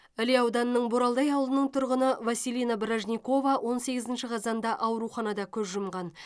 іле ауданының боралдай ауылының тұрғыны василина бражникова он сегізінші қазанда ауруханада көз жұмған